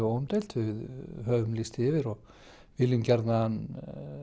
óumdeilt við höfum lýst því yfir og viljum gjarnan